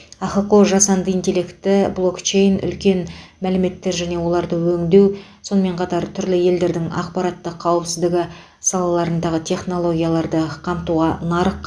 ахқо жасанды интеллекті блокчейн үлкен мәліметтер және оларды өңдеу сонымен қатар түрлі елдердің ақпараттық қауіпсіздігі салаларындағы технологияларды қамтуға нарық